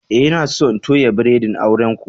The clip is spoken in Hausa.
Eh, n'na so in toya biredin auren ku.